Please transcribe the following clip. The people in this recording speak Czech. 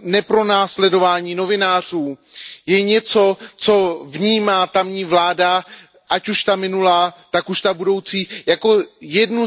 nepronásledování novinářů je něco, co vnímá tamní vláda, ať už ta minulá, tak už ta budoucí, jako jednu